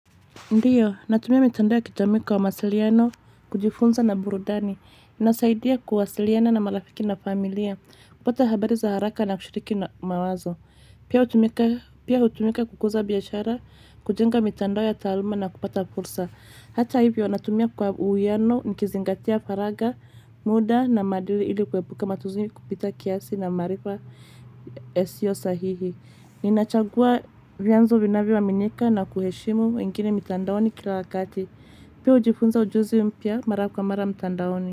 Ndiyo, natumia mitandao ya kijamii kwa mawasiliano, kujifunza na burudani. Inasaidia kuwasiliana na marafiki na familia, kupata habari za haraka na kushiriki na mawazo. Pia, hutumika Pia, hutumika kukuza biashara, kujenga mitandao ya taaluma na kupata fursa. Hata hivyo, natumia kwa uwiano, nikizingatia faragha, muda na maadili ili kuepuka matumizi ya kupita kiasi na maarifa yasiyo sahihi. Ninachagua vyanzo vinavyoaminika na kuheshimu wengine mitandaoni kila wakati. Pia, hujifunza ujuzi mpya mara kwa mara mtandaoni.